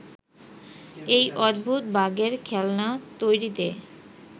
এই অদ্ভুত বাঘের খেলনা তৈরিতে